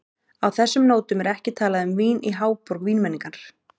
Á þessum nótum er ekki talað um vín í háborg vínmenningar.